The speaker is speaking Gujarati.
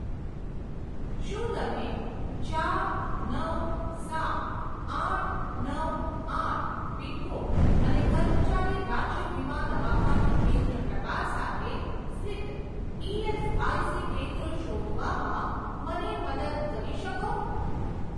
શું તમે ચાર નવ સાત આઠ નવ આઠ પિનકોડ અને કર્મચારી રાજ્ય વીમા દવાખાનું કેન્દ્ર પ્રકાર સાથે સ્થિત ઇએસઆઇસી કેન્દ્રો શોધવામાં મને મદદ કરી શકો?